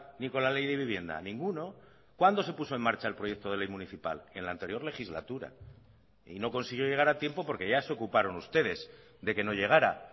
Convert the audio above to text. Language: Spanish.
ni con la ley de vivienda ninguno cuándo se puso en marcha el proyecto de ley municipal en la anterior legislatura y no consiguió llegar a tiempo porque ya se ocuparon ustedes de que no llegara